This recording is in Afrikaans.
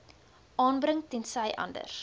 aanbring tensy anders